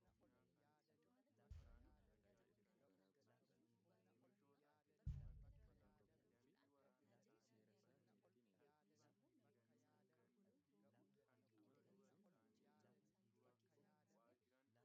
Fal'aanni meeshaa muka irraas haa ta'u sibiila irraa tolfamu keessaa tokko ta'ee, kan nyaata garaa ittiin nyaatanii fi ittiin qopheessanidha. Fal'aanonni kunneen muka irraa bifaa fi boca mimmiidhagaa tolfamanii jiru.